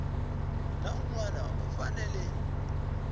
na un wana u fanele